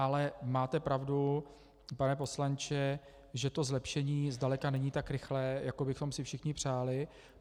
Ale máte pravdu, pane poslanče, že to zlepšení zdaleka není tak rychlé, jak bychom si všichni přáli.